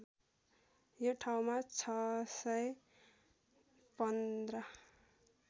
यो ठाउँमा ६१५